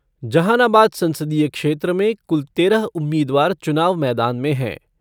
जहानाबाद संसदीय क्षेत्र में कुल तेरह उम्मीदवार चुनाव मैदान में हैं।